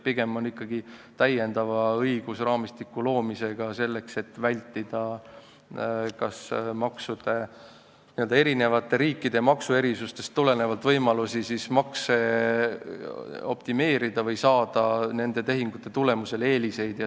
Pigem luuakse ikkagi õigusraamistik selleks, et vältida kas eri riikide maksuerisustest tulenevaid võimalusi makse optimeerida või saada nende tehingute tulemusel eeliseid.